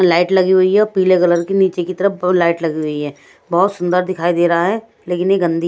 light लगी हुई है और पीले कलर की नीचे की तरफ लाइट लगी हुई है बहुत सुंदर दिखाई दे रहा है लेकिन ये गंदी--